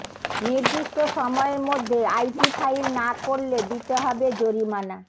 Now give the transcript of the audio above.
নির্দিষ্ট সময়ের মধ্যে আইটি ফাইল না করলে দিতে হবে জরিমানা